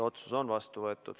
Otsus on vastu võetud.